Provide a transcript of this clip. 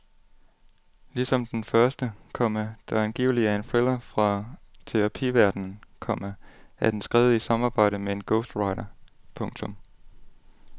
Ligesom den første, komma der angiveligt er en thriller fra terapiverdenen, komma er den skrevet i samarbejde med en ghostwriter. punktum